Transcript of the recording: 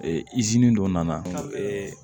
dɔ nana